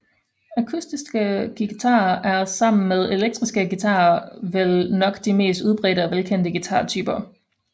Akustiske guitarer er sammen med elektriske guitarer vel nok de mest udbredte og velkendte guitartyper